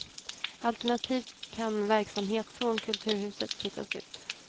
Alternativt kan verksamhet från kulturhuset flyttas ut.